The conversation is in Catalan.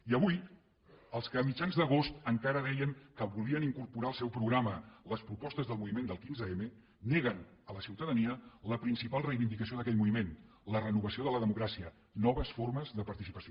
i avui els que a mitjan agost encara deien que volien incorporar al seu programa les propostes del moviment del quinze m neguen a la ciutadania la principal reivindicació d’aquell moviment la renovació de la democràcia noves formes de participació